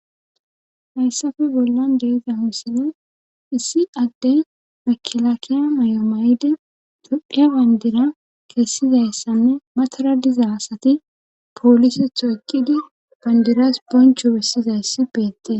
Hayssafe bollan deiza huussine issi adde makilakiya may7o may7ide dodhdphiya bandira kessizayssanne matara diza asati poolisetho ekkidi bandiras boncho bessizayssi beette.